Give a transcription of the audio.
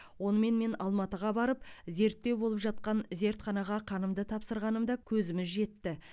оны мен алматыға барып зерттеу болып жатқан зертханаға қанымды тапсырғанымда көзіміз жетті